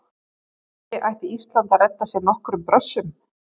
Kannski ætti Ísland að redda sér nokkrum Brössum?